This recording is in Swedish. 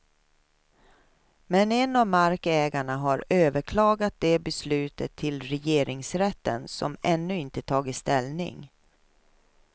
Men en av markägarna har överklagat det beslutet till regeringsrätten som ännu inte tagit ställning.